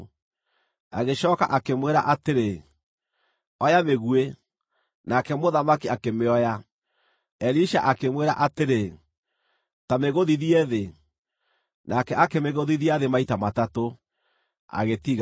Agĩcooka akĩmwĩra atĩrĩ, “Oya mĩguĩ,” Nake mũthamaki akĩmĩoya. Elisha akĩmwĩra atĩrĩ, “Ta mĩgũthithie thĩ.” Nake akĩmĩgũthithia thĩ maita matatũ, agĩtiga.